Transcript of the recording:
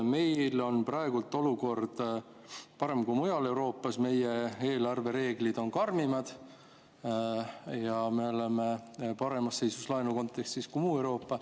Meil on praegu olukord parem kui mujal Euroopas, meie eelarvereeglid on karmimad ja me oleme laenu kontekstis paremas seisus kui muu Euroopa.